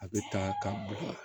A bɛ ta ka bɔn